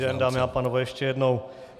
Dobrý den, dámy a pánové, ještě jednou.